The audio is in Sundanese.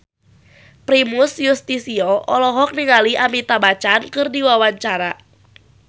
Primus Yustisio olohok ningali Amitabh Bachchan keur diwawancara